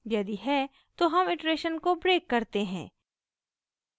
यदि है तो हम इटरेशन को ब्रेक करते हैं